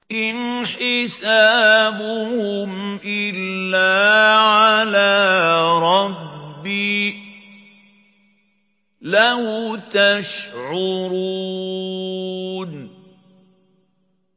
إِنْ حِسَابُهُمْ إِلَّا عَلَىٰ رَبِّي ۖ لَوْ تَشْعُرُونَ